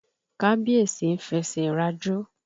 Kábíẹ̀sí ń fẹsẹ̀ rajó.